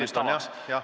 Kaks minutit on, jah.